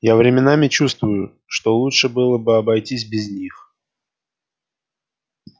я временами чувствую что лучше было бы обойтись без них